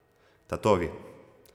Tatovi.